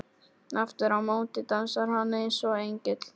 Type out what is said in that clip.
. aftur á móti dansar hann eins og engill.